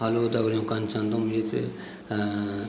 हेल्लो दगडियों कन छन तुम येत अ --